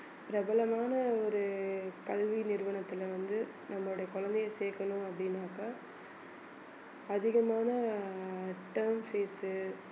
பிரபலமான ஒரு கல்வி நிறுவனத்தில வந்து நம்மளுடைய குழந்தையை சேர்க்கணும் அப்படின்னாக்கா அதிகமான ஆஹ் term fees உ